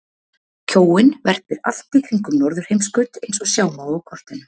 Kjóinn verpir allt í kringum norðurheimskaut eins og sjá má á kortinu.